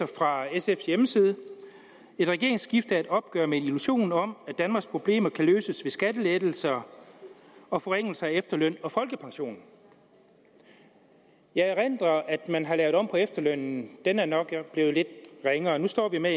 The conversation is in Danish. fra sfs hjemmeside et regeringsskifte er et opgør med illusionen om at danmarks problemer kan løses med skattelettelser og forringelse af efterløn og folkepension jeg erindrer at man har lavet om på efterlønnen den er nok blevet lidt ringere og nu står vi med